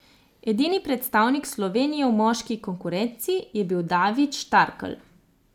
Edini predstavnik Slovenije v moški konkurenci je bil David Štarkel.